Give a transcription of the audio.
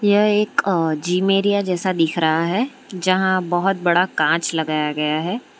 यह एक अ जिम एरिया जैसा दिख रहा है जहां बहोत बड़ा कांच लगाया गया है।